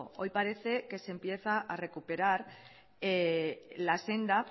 hoy parece que se empieza a recuperar la senda